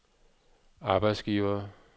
arbejdsgivere